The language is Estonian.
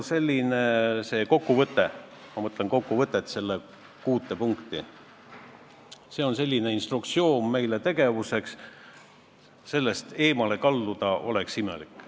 See kokkuvõte, kuus punkti, on selline instruktsioon, millest meil oma tegevuses eemale kalduda oleks imelik.